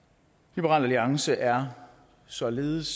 liberal alliance er således